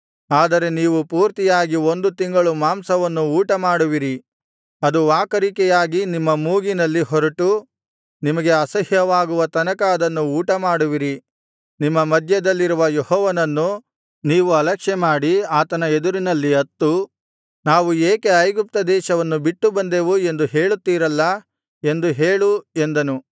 ಆದರೆ ನೀವು ಪೂರ್ತಿಯಾಗಿ ಒಂದು ತಿಂಗಳು ಮಾಂಸವನ್ನು ಊಟಮಾಡುವಿರಿ ಅದು ವಾಕರಿಕೆಯಾಗಿ ನಿಮ್ಮ ಮೂಗಿನಲ್ಲಿ ಹೊರಟು ನಿಮಗೆ ಅಸಹ್ಯವಾಗುವ ತನಕ ಅದನ್ನು ಊಟಮಾಡುವಿರಿ ನಿಮ್ಮ ಮಧ್ಯದಲ್ಲಿರುವ ಯೆಹೋವನನ್ನು ನೀವು ಅಲಕ್ಷ್ಯಮಾಡಿ ಆತನ ಎದುರಿನಲ್ಲಿ ಅತ್ತು ನಾವು ಏಕೆ ಐಗುಪ್ತ ದೇಶವನ್ನು ಬಿಟ್ಟುಬಂದೆವು ಎಂದು ಹೇಳುತ್ತೀರಲ್ಲಾ ಎಂದು ಹೇಳು ಎಂದನು